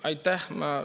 Aitäh!